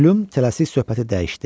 Plyum tələsik söhbəti dəyişdi.